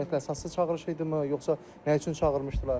Ümumiyyətlə əsassız çağırış idimi, yoxsa nə üçün çağırmışdılar?